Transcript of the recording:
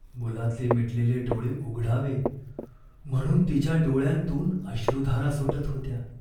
मुलाचे मिटलेले डोळे उघडावे म्हणून तिच्या डोळ्यांतून अश्रुधारा सुटत होत्या.